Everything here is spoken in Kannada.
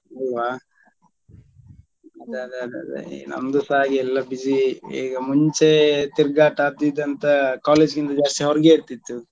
ಅಲ್ವಾ ಅದೇ ಅದೇ ಅದೇ ನಮ್ದುಸಾ ಹಾಗೆ ಎಲ್ಲ busy ಈಗ ಮುಂಚೆ ತಿರ್ಗಾಟ ಅದ್ ಇದ್ ಅಂತ college ಗಿಂತ ಜಾಸ್ತಿ ಹೊರಗೆ ಇರ್ತಿತ್ತು.